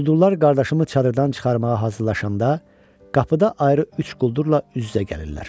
Quldurlar qardaşımı çadırdan çıxarmağa hazırlaşanda qapıda ayrı üç quldurla üz-üzə gəlirlər.